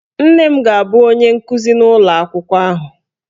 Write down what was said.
Nne m ga-abụ onye nkuzi n'ụlọ akwụkwọ ahụ